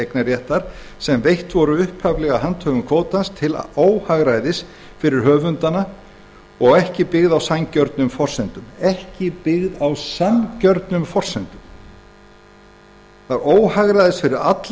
eignarréttar sem veitt voru upphaflega handhöfum kvótans til óhagræðis fyrir höfundana og ekki byggð á sanngjörnum forsendum það kerfi